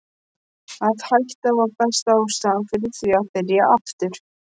Að hætta var besta ástæðan fyrir því að byrja aftur.